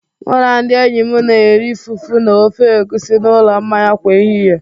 Mụ na ndị enyi m na-eri fufu na ofe egusi n'ụlọ mmanya kwa ehihie.